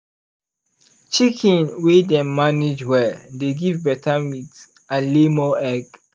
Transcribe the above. chicken wey dem manage well dey give better meat and lay more egg.